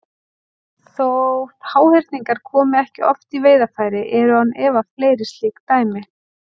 Þótt háhyrningar komi ekki oft í veiðarfæri eru án efa fleiri slík dæmi.